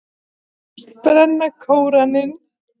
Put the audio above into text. Hyggst brenna Kóraninn